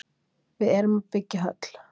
Við erum að byggja höll.